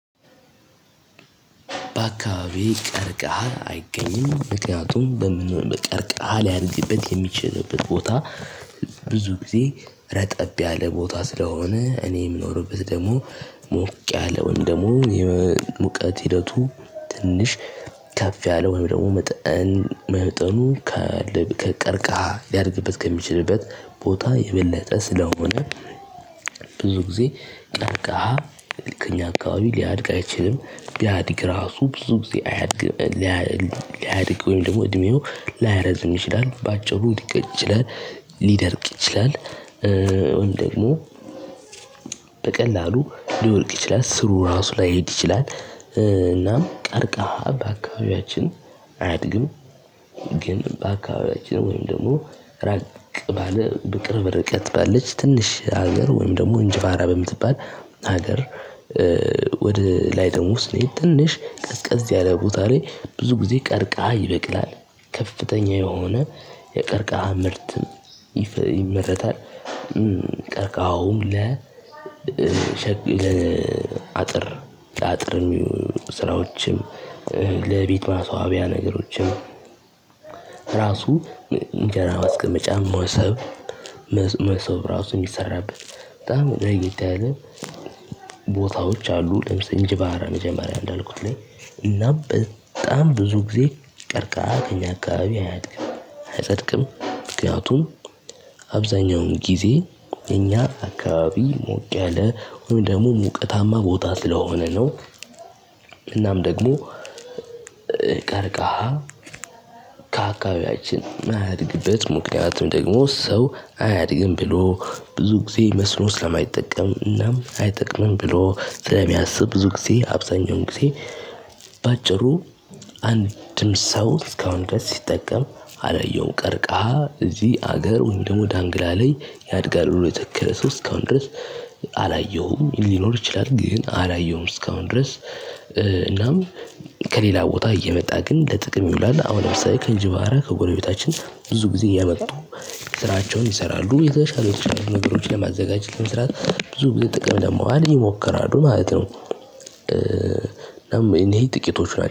በአካባቢ ቀርቀሃ አይገኝም ምክንያቱም በምን ቀርቀሃል ሊያድግበት የሚችልበት ቦታ። ብዙ ጊዜ ረጠብ ያለ ቦታ ስለሆነ እኔ የምኖርበት ደግሞ ሞቅ ያለ ወይም ደግሞ ሙቀት ሂደቱ ትንሽ ከፍ ያለ ወይም ደግሞ መጠኑ ከቀርቃሃ ሊያድግበት ከሚችልበት ቦታ የበለጠ ስለሆነ። ብዙ ጊዜ ቀርቃሃ ከኛ አካባቢ ሊያድግ አይችልም ቢያድግ ራሱ ብዙ ጊዜ አያድግም። ሊያድግ ወይም ደግሞ እድሜው ላያረዝም ይችላል በአጭሩ ሊደርቅ ይችላል። ወይም ደግሞ በቀላሉ ሊወድቅ ይችላል ስሩ ራሱ ላይሄድ ይችላል እናም ቀርቃሃ በአካባቢያችን አያድግም። ግን በአካባቢያችን ወይም ደግሞ ራቅ ባለ በቅርብ ርቀት ባለች ትንሽ ሀገር ወይም ደግሞ እንጂባራ በምትባል ሀገር። ወደ ላይ ደሞ ስንሄድ ትንሽ ቀዝቀዝ ያለ ቦታ ላይ ብዙ ጊዜ ቀርቃሃ ይበቅላል ከፍተኛ የሆነ የቀርቃሃ ምርት ይመረታል። ቀርቃሃውም ለአጥር ለአጥር ስራዎችም ለቤት ማስዋቢያ ነገሮችም። ራሱ እንጀራ ማስቀመጫ ሞሰብ መሶብ ራሱ የሚሰራበት በጣም ለየት ያለ ቦታዎች አሉ። ለምሳሌ እንጂባራ መጀመሪያ እንዳልኩት ላይ እና በጣም ብዙ ጊዜ ቀርቃሃ ከእኛ አካባቢ አያድግም አይጸድቅም ምክንያቱም አብዛኛውን ጊዜ እኛ አካባቢ ሞቅ ያለ ወይም ደግሞ ሙቀታማ ቦታ ስለሆነ ነው። እናም ደግሞ ቀርቃሃ ከአካባቢያችን ማያድግበት ምክንያትም ደግሞ ሰው አያድግም ብሎ ብዙ ጊዜ መስኖ ስለማይጠቀም እናም አይጠቅምም ብሎ ስለሚያስብ ብዙ ጊዜ አብዛኛውን ጊዜ። በአጭሩ አንድም ሰው እስካሁን ድረስ ሲጠቀም አላየሁው ቀርቃሂ እዚህ አገር ወይም ደግሞ ዳንግላ ላይ ያድጋል ብሎ የተከለ ሰው እስካሁን ድረስ አላየሁም። ሊኖር ይችላል ግን አላየሁም እስካሁን ድረስ። እናም ከሌላ ቦታ እየመጣ ግን ለጥቅም ይውላል አሁን ለምሳሌ ከእንጂባራ ከጎረቤታችን ብዙ ጊዜ እያመጡ ስራቸውን ይሰራሉ የተሻሉ የተቻሉ ነገሮችን ለማዘጋጀት ለመስራት ብዙ ጥቅም ደግሞ አለ ይሞክራሉ ማለት ነው። እናም ይሄ ጥቂቶች ናቸው